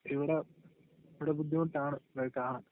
ഇവിട...ഇവിട ബുദ്ധിമുട്ടാണ്..ഇതൊക്കെ കാണാൻ..